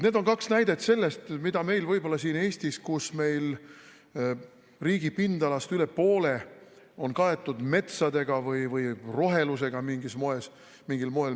Need on kaks näidet selle kohta, millest meil võib-olla siin Eestis, kus riigi pindalast üle poole on kaetud metsaga või mingil moel rohelusega.